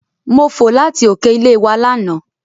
Mo fò láti òkè ilé wa lánàá.